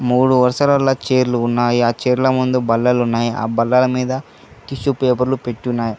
మూడు అవసరాల చేర్లు ఉన్నాయి ఆ చైర్లా ముందు బల్లలు ఉన్నాయి ఆ బల్లెల మీద టిష్యూ పేపర్లు పెట్టి ఉన్నాయి.